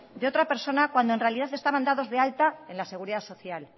de otra persona cuando en realidad estaban dados de alta en la seguridad social